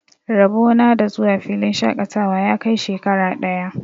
Rabo na da zuwa filin shaƙatawa ya kai shekara ɗaya.